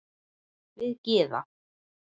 Við Gyða